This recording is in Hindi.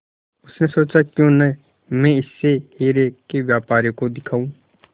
उसने सोचा क्यों न मैं इसे हीरे के व्यापारी को दिखाऊं